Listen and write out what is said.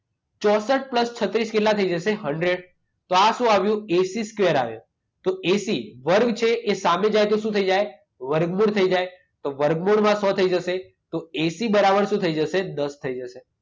ચોંસઠ plus છત્રીસ કેટલા થઈ જશે? હન્ડ્રેડ. તો આ શું આવ્યું? એસી સ્કવેર આવ્યું. તો એસી વર્ગ છે એ સામે જાય તો શું થઈ જાય? વર્ગમૂળ થઈ જાય. તો વર્ગમૂળમાં છ થઈ જશે. તો એસી બરાબર શું થઈ જશે? દસ થઈ જશે.